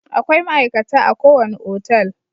Akwai ma'aikata a ko wani otal.